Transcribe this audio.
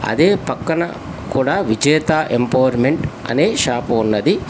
అదే పక్కన కూడా విజేత ఎంపవర్మెంట్ అనే షాపు ఉన్నది.